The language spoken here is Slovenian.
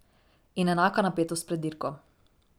In enaka napetost pred dirko.